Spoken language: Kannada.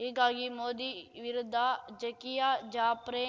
ಹೀಗಾಗಿ ಮೋದಿ ವಿರುದ್ಧ ಝಾಕಿಯಾ ಜಾಪ್ರೆ